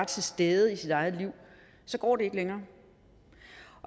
til stede i sit eget liv så går det ikke længere